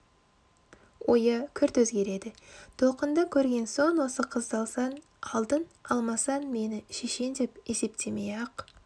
ойы күрт өзгереді толқынды көрген соң осы қызды алсаң алдың алмасаң мені шешең деп есептемей-ақ